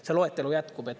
See loetelu jätkub.